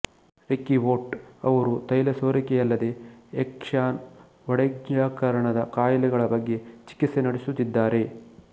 Ricky Ott ಅವರು ತೈಲಸೋರಿಕೆಯಲ್ಲದೇ Exxon ವಡೆಜ್ಪ್ರಕರಣದ ಕಾಯಿಲೆಗಳ ಬಗ್ಗೆ ಚಿಕಿತ್ಸೆ ನಡೆಸುತ್ತಿದ್ದಾರೆ